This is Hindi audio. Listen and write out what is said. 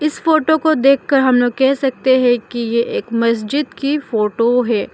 इस फोटो को देखकर हम लोग कह सकते हैं कि ये एक मस्जिद की फोटो है।